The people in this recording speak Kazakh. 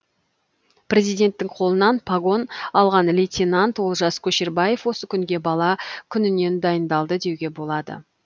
президенттің қолынан погон алған лейтенант олжас көшербаев осы күнге бала күнінен дайындалды деуге болады